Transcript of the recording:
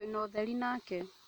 Twĩ na ũtheri nake